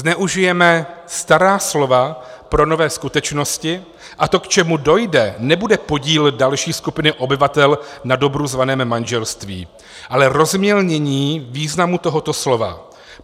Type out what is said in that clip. Zneužijeme stará slova pro nové skutečnosti, a to k čemu dojde, nebude podíl další skupiny obyvatel na dobru zvaném manželství, ale rozmělnění významu tohoto slova.